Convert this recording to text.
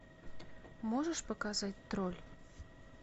можешь показать тролль